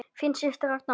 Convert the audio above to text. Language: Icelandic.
Þín systir Ragna Lóa.